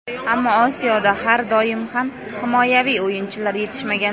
Ammo Osiyoda har doim ham himoyaviy o‘yinchilar yetishmagan.